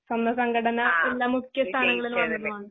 പിന്നെ സ്വന്തംസംഘട പിന്നെ മുഖ്യസ്ഥാനങ്ങളിൽ വന്നതുവാണ്.